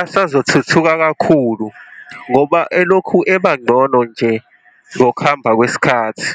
asazothuthuka kakhulu ngoba elokhu ebangcono nje ngokuhamba kwesikhathi.